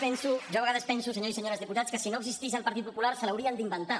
jo a vegades penso senyores i senyors diputats que si no existís el partit popular se l’haurien d’inventar